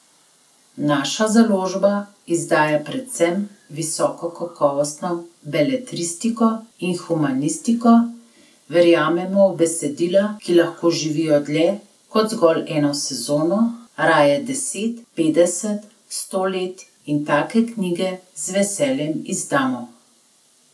Naša založba izdaja predvsem visokokakovostno beletristiko in humanistiko, verjamemo v besedila, ki lahko živijo dlje kot zgolj eno sezono, raje deset, petdeset, sto let, in take knjige z veseljem izdamo.